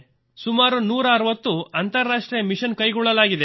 ಸುಮಾರು 160 ಅಂತಾರಾಷ್ಟ್ರೀಯ ಮಿಶನ್ ಕೈಗೊಳ್ಳಲಾಗಿದೆ